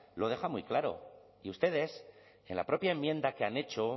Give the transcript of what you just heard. lo deja muy claro y ustedes en la propia enmienda que han hecho